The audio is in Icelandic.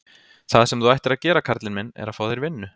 Það sem þú ættir að gera karlinn minn, er að fá þér vinnu.